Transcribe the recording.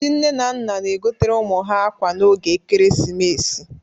Ndị nne na nna na-egotere ụmụ ha akwa n'oge ekeresimesi